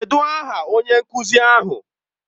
Kedụ aha onye nkuzi ahụ?